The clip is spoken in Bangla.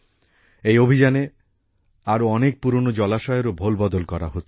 এই অভিযানে আরও অনেক পুরনো জলাশয়েরও ভোলবদল করা হচ্ছে